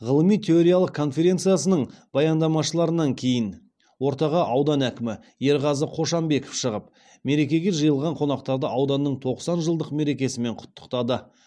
ғылыми ториялық конференциясының баяндамашыларынан кейін ортаға аудан әкімі ерғазы қошанбеков шығып мерекеге жиылған қонақтарды ауданның тоқсан жылдық мерекесімен құттықтады